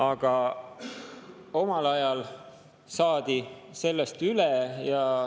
Aga omal ajal saadi sellest üle.